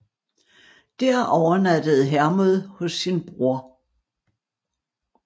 Dér overnattede Hermod hos sin bror